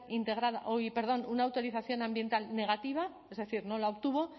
integrada uy perdón una autorización ambiental negativa es decir no la obtuvo